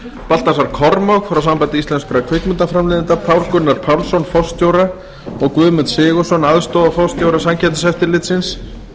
baltasar kormák frá sambandi íslenskra kvikmyndaframleiðenda pál gunnar pálsson forstjóra og guðmund sigurðsson aðstoðarforstjóra samkeppniseftirlitsins